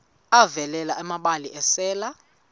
avela amabele esel